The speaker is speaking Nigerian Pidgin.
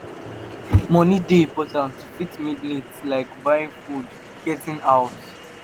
money dey important to fit meet needs like buying food, getting house,